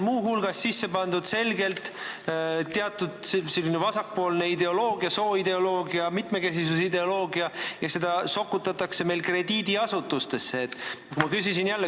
Muu hulgas on siia selgelt sisse pandud teatud vasakpoolset ideoloogiat, sooideoloogiat, mitmekesisuse ideoloogiat – seda sokutatakse meil krediidiasutustesse.